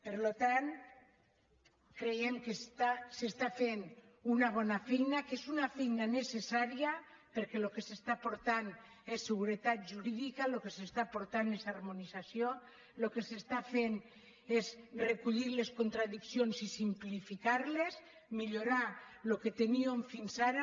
per tant creiem que s’està fent una bona feina que és una feina necessària perquè el que s’està aportant és seguretat jurídica el que s’està aportant és harmonització el que s’està fent és recollir les contradiccions i simplificar les millorar el que teníem fins ara